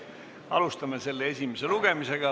Alustame selle esimest lugemist.